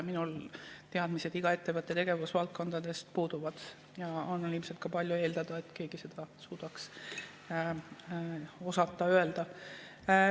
Minul teadmised iga ettevõtte tegevusvaldkondadest puuduvad ja on ilmselt ka palju eeldada, et keegi seda suudaks ja oskaks öelda.